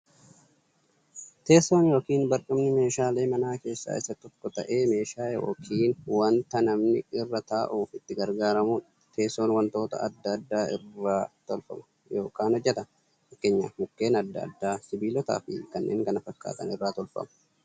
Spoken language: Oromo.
Teessoon yookiin barcumni meeshaalee manaa keessaa tokko ta'ee, meeshaa yookiin wanta namni irra ta'uuf itti gargaaramuudha. Teessoon wantoota adda addaa irraa tolfama yookiin hojjatama. Fakkeenyaf Mukkeen adda addaa, sibilootaafi kanneen kana fakkaatan irraa tolfamu.